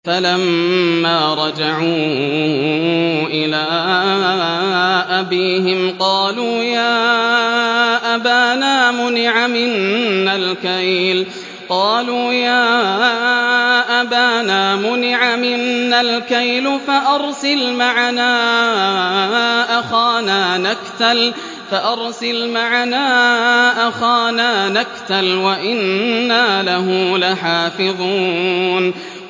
فَلَمَّا رَجَعُوا إِلَىٰ أَبِيهِمْ قَالُوا يَا أَبَانَا مُنِعَ مِنَّا الْكَيْلُ فَأَرْسِلْ مَعَنَا أَخَانَا نَكْتَلْ وَإِنَّا لَهُ لَحَافِظُونَ